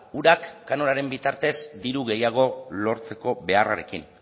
urak kanonaren bitartez diru gehiago lortzeko beharrarekin